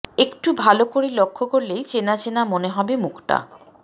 একটু ভালো করে লক্ষ করলেই চেনা চেনা মনে হবে মুখটা